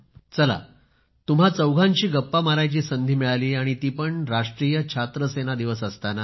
चला तुम्हा चौघांशी गप्पा मारायची संधी मिळाली आणि ती पण राष्ट्रीय छात्रसेना दिवस असताना